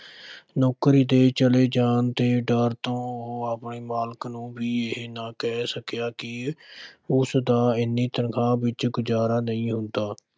ਨੌਕਰੀ ਦੇ ਚਲੇ ਜਾਣ ਦੇ ਡਰ ਤੋਂ ਉਹ ਆਪਣੇ ਮਾਲਕ ਨੂੰ ਵੀ ਇਹ ਨਾ ਕਹਿ ਸਕਿਆ ਕਿ ਉਸ ਦਾ ਏਨੀ ਤਨਖ਼ਾਹ ਵਿੱਚ ਗੁਜ਼ਾਰਾ ਨਹੀਂ ਹੁੰਦਾ।